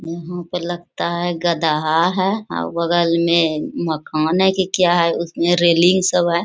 यहां पे लगता है गधा है और बगल में मकान है की क्या है उसमें रेलिंग सब है।